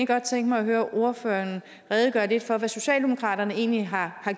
godt tænke mig at høre ordføreren redegøre lidt for hvad socialdemokratiet egentlig har